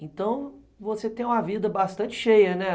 Então, você tem uma vida bastante cheia, né?